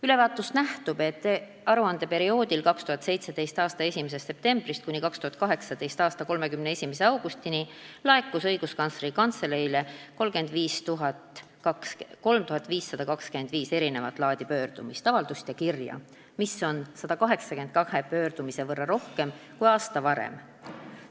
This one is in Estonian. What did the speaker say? Ülevaatest nähtub, et aruandeperioodil, 2017. aasta 1. septembrist kuni 2018. aasta 31. augustini, laekus Õiguskantsleri Kantseleile 3525 erinevat laadi pöördumist, avaldust ja kirja, mis on 182 pöördumise võrra rohkem kui aasta varem.